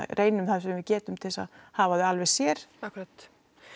reynum það sem við getum til þess að hafa þau alveg sér akkúrat